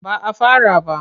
Ba a fara ba.